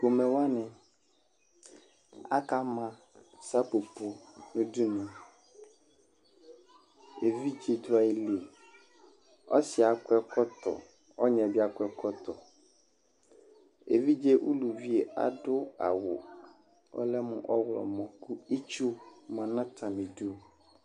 Pomɛ wanɩ akama sapopo nʋ udunu Evidze dʋ ayili Ɔsɩ yɛ akɔ ɛkɔtɔ Ɔnyɩ yɛ bɩ akɔ ɛkɔtɔ Evidze uluvi yɛ adʋ awʋ ɔlɛ mʋ ɔɣlɔmɔ kʋ itsu ma nʋ atamɩdu